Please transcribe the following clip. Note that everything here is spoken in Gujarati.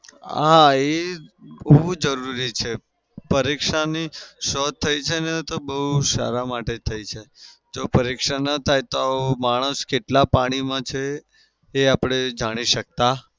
હા એ ખુબ જરૂરી છે. પરીક્ષાની શોધ થઇ છે ને તો બઉ સારા માટે થઇ છે. જો પરીક્ષા ના થાય તો માણસ કેટલા પાણીમાં છે એ આપડે જાણી શકતા